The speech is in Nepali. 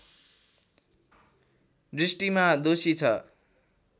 दृष्टिमा दोषी छ